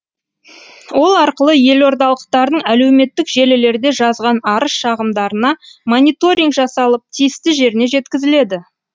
ол арқылы елордалықтардың әлеуметтік желілерде жазған арыз шағымдарына мониторинг жасалып тиісті жеріне жеткізіледі